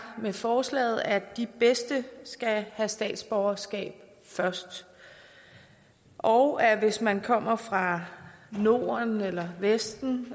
med forslaget er at de bedste skal have statsborgerskab først og at hvis man kommer fra norden eller vesten